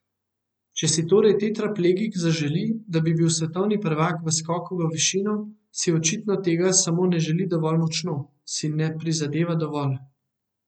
Če si torej tetraplegik zaželi, da bi bil svetovni prvak v skoku v višino, si očitno tega samo ne želi dovolj močno, si ne prizadeva dovolj.